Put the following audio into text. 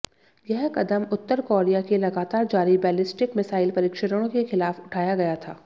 यह कदम उत्तर कोरिया के लगातार जारी बैलिस्टिक मिसाइल परीक्षणों के खिलाफ उठाया गया था